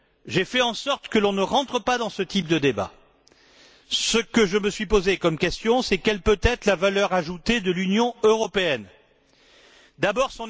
J'ai fait en sorte qu'on ne rentre pas dans ce type de débat. Ce que je me suis posé comme question, c'est Quelle peut être la valeur ajoutée de l'Union européenne?. D'abord